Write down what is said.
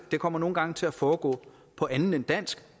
det kommer nogle gange til at foregå på andet end dansk